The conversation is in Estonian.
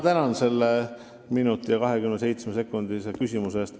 Ma tänan selle minuti ja 27-sekundilise küsimuse eest.